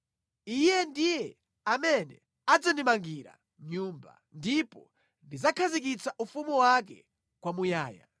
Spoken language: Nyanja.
Iye ndiye amene adzandimangira nyumba, ndipo ndidzakhazikitsa ufumu wake kwamuyaya.